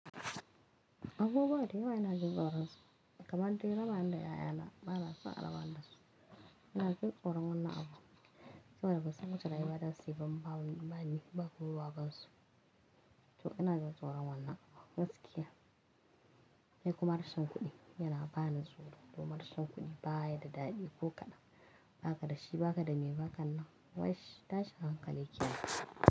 Abubuwa dayawa ina jin tsoransu, kamar dai rabani da ƴaƴana, banaso a rabani dasu. Ina jin tsoron wannan abu, saboda bansan wacce rayuwa zasuyi ba, idan bani ba kuma babansu. To ina jin tsoron wannan, gaskiya. Sai kuma rashin kuɗi yana bani tsoro, domin rashin kuɗi ba ya da daɗi ko kaɗan. Ba ka dashi, ba ka da me bakannan, wash tashin hankali kenan.